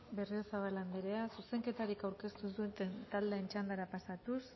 berriozabal anderea zuzenketarik aurkeztu ez duen taldeen txandara pasatuz